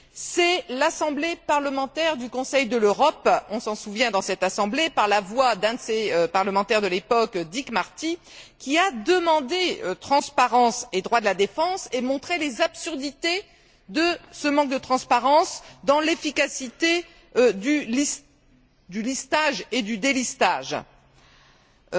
C'est l'Assemblée parlementaire du Conseil de l'Europe on s'en souvient dans cette Assemblée qui, par la voix d'un de ses parlementaires de l'époque, Dick Marty, a demandé transparence et droit de la défense, et a montré les absurdités de ce manque de transparence dans l'efficacité du listage et du délistage, susceptibles d'affecter